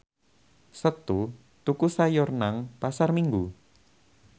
Setu tuku sayur nang Pasar Minggu